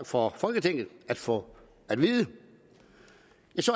for folketinget at få at vide